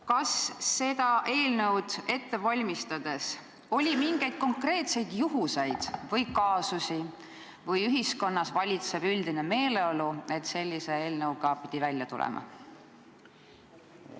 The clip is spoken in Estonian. Kas seda eelnõu ette valmistades oli teada mingeid konkreetseid juhtumeid või kaasusi või oli ühiskonnas valitsev üldine meeleolu see põhjus, et sellise eelnõuga pidi välja tulema?